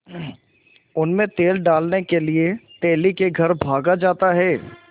उनमें तेल डालने के लिए तेली के घर भागा जाता है